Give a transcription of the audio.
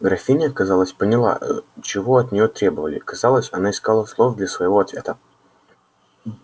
графиня казалось поняла ээ чего от нее требовали казалось она искала слов для своего ответа